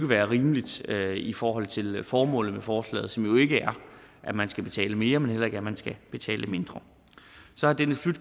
være rimeligt i forhold til formålet med forslaget som jo ikke er at man skal betale mere men heller ikke at man skal betale mindre så